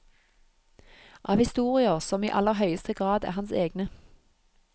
Av historier som i aller høyeste grad er hans egne.